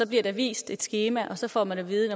bliver der vist et skema og så får man at vide at